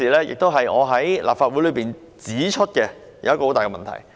這亦是我在立法會指出的一個很大的問題。